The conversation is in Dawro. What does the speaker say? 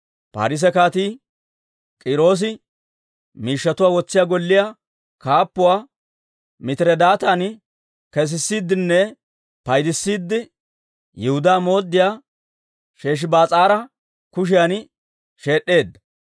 Paarise Kaatii K'iiroosi miishshatuwaa wotsiyaa golliyaa kaappuwaa Mitiredaatan kesissiiddinne paydissiide, Yihudaa mooddiyaa Sheshibaas'aara kushiyan sheed'd'edda.